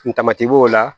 Kun tamati b'o la